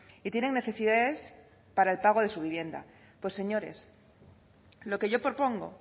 y tienen necesidades para el pago de su vivienda pues señores lo que yo propongo